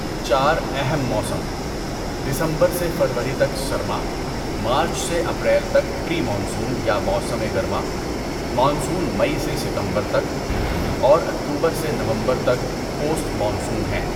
چار اہم موسم، دسمبر سے فروری تک سرما، مارچ سے اپریل تک پری مانسون یا موسم گرما، مانسون مئی سے ستمبر تک، اور اکتوبر سے نومبر تک پوسٹ مانسون ہیں۔